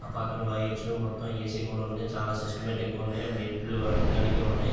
ఆ పక్కన వైర్స్ మొత్తం ఏసీ కూడా ఉంది చాలా సిస్టమాటిక్ గ ఉన్నాయ్ మెట్లు ఎక్కడానికి ఉన్నాయి.